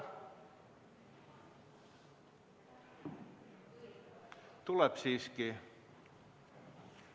Tuleb siiski.